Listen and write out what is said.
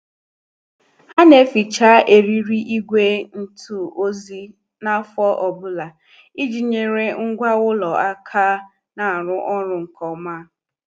Ha na- eficha eriri ìgwè ntụ ozi n' afọ ọbụla, iji nyere ngwa ụlọ aka na- aru ọrụ nke ọma.